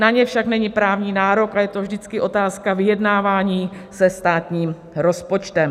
Na ně však není právní nárok a je to vždycky otázka vyjednávání se státním rozpočtem.